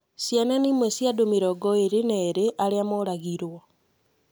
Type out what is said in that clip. Ciana nĩ imwe cia andũ mĩrongo ĩrĩ na erĩ arĩa mooragirũo.